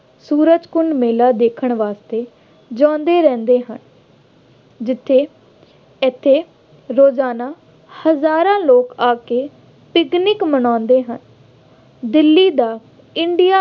ਸੂਰਜਕੁੰਡ ਮੇਲਾ ਦੇਖਣ ਵਾਸਤੇ ਜਾਂਦੇ ਰਹਿੰਦੇ ਹਨ। ਜਿੱਥੇ ਇੱਥੇ ਰੋਜ਼ਾਨਾ ਹਜ਼ਾਰਾਂ ਲੋਕ ਆ ਕੇ ਪਿਕਨਿਕ ਮਨਾਉਂਦੇ ਹਨ। ਦਿੱਲੀ ਦਾ ਇੰਡੀਆ